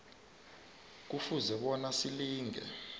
kufuze bona silinge